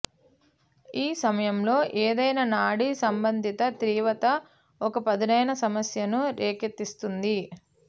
ఈ సమయంలో ఏదైనా నాడీ సంబంధిత తీవ్రత ఒక పదునైన సమస్యను రేకెత్తిస్తుంది